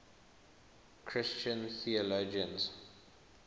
christian theologians